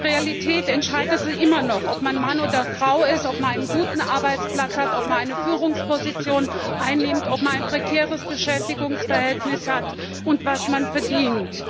In der Realität entscheidet immer noch, ob man Mann oder Frau ist, ob man einen guten Arbeitsplatz hat, ob man eine Führungsposition einnimmt, ob man ein prekäres Beschäftigungsverhältnis hat und was man verdient.